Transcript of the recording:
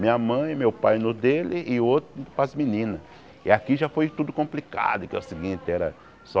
Minha mãe, meu pai no dele e o outro para as meninas E aqui já foi tudo complicado, que é o seguinte, era só...